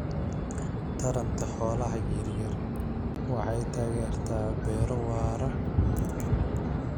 Taranta xoolaha yaryar waxay taageertaa beero waara.